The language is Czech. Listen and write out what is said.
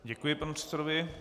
Děkuji panu předsedovi.